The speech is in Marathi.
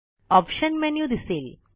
ऑप्शन मेन्यु दिसेल